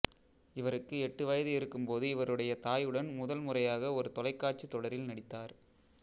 இவருக்கு எட்டு வயது இருக்கும்போது இவருடைய தாயுடன் முதல் முறையாக ஒரு தொலைக்காட்சித் தொடரில் நடித்தார்